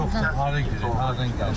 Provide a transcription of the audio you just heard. Yoxdur, hara gedəcək, hardan gəlib?